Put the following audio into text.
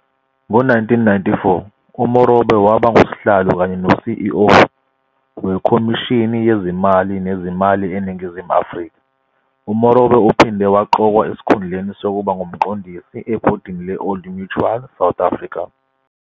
Ngo-1994 uMorobe waba nguSihlalo kanye no-CEO weKhomishini Yezimali Nezimali eNingizimu Afrika. UMorobe uphinde waqokwa esikhundleni sokuba nguMqondisi ebhodini le-Old Mutual South Africa.